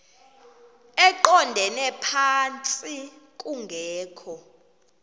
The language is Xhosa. eqondele phantsi kungekho